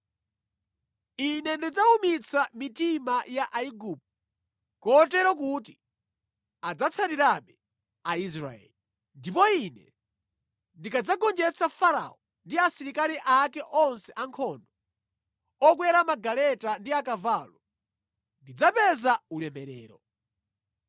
Ine ndidzawumitsa mitima ya Aigupto kotero kuti adzatsatirabe Aisraeli. Ndipo ine ndikadzagonjetsa Farao ndi asilikali ake onse ankhondo, okwera magaleta ndi akavalo, ndidzapeza ulemerero.